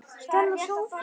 Stella Soffía.